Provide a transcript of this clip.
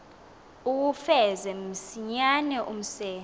uwufeze msinyane umse